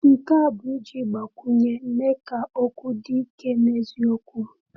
Nke a bụ iji mgbakwunye mee ka okwu dị ike n’eziokwu.